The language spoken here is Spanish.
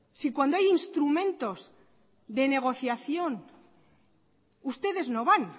si cuando hay instrumentos de negociación ustedes no van